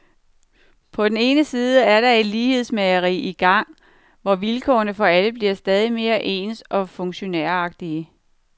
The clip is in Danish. På den ene side er der et lighedsmageri i gang, hvor vilkårene for alle bliver stadig mere ens og funktionæragtige.